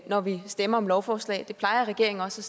når vi stemmer om lovforslag det plejer regeringen også